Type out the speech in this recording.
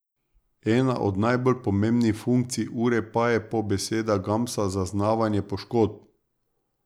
Ena od najbolj pomembnih funkcij ure pa je po besedah Gamsa zaznavanje poškodb.